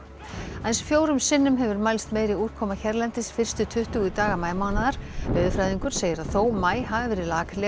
aðeins fjórum sinnum hefur mælst meiri úrkoma hérlendis fyrstu tuttugu daga maímánaðar veðurfræðingur segir að þó maí hafi verið